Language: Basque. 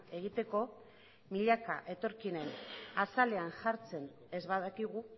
egiteko milaka etorkinen azalean jartzen ez badakigu